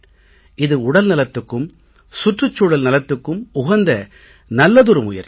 இது உடல் நலத்துக்கும் சுற்றுச் சூழல் நலத்துக்கும் உகந்த நல்லதொரு முயற்சி